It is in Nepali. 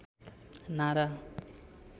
नारा